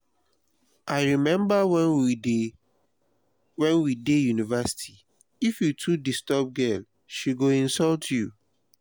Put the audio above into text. i rememba wen we dey university if you too disturb girl she go insult you